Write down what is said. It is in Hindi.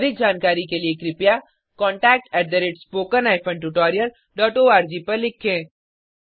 अधिक जानकारी के लिए contactspoken tutorialorg पर लिखें